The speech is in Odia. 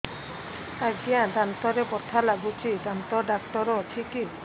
ଆଜ୍ଞା ଦାନ୍ତରେ ବଥା ଲାଗୁଚି ଦାନ୍ତ ଡାକ୍ତର ଅଛି କି